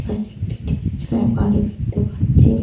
Side -এ একটি টিনের চালের বাড়ি দেখতে পাচ্ছি।